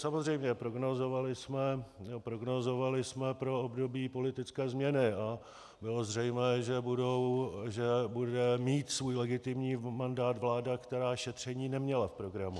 Samozřejmě prognózovali jsme pro období politické změny a bylo zřejmé, že bude mít svůj legitimní mandát vláda, která šetření neměla v programu.